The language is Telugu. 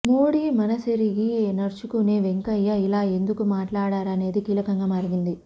మోడీ మనసెరిగి నడుచుకునే వెంకయ్య ఇలా ఎందుకు మాట్లాడారనేది కీలకంగా మారింది